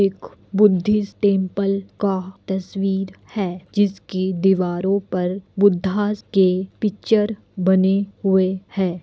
एक Buddhist temple का तस्वीर है जिसकी दीवारों पर बुद्दहास के पिच्चर बने हुए है।